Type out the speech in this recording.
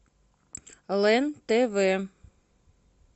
лен тв